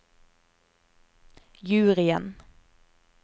juryen